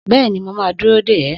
Bẹ́ẹ̀ni, mo ma dúró dè ẹ́